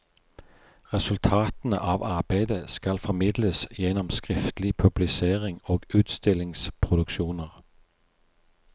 Resultatene av arbeidet skal formidles gjennom skriftlig publisering og utstillingsproduksjoner.